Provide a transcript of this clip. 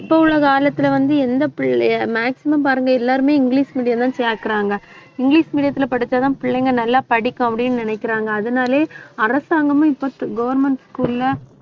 இப்ப உள்ள காலத்துல வந்து, எந்த பிள்ளைய maximum பாருங்க எல்லாருமே இங்கிலிஷ் medium தான் சேர்க்கிறாங்க இங்கிலிஷ் medium த்துல படிச்சாதான் பிள்ளைங்க நல்லா படிக்கும் அப்படின்னு நினைக்கிறாங்க அதனாலேயே அரசாங்கமும் இப்ப government school ல